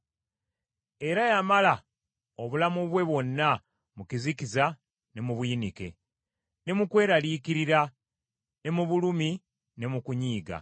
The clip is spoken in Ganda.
Era yamala obulamu bwe bwonna mu kizikiza ne mu buyinike, ne mu kweraliikirira, ne mu bulumi ne mu kunyiiga.